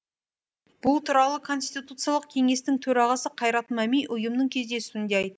бұл туралы конституциялық кеңестің төрағасы қайрат мәми ұйымның кездесуінде айтты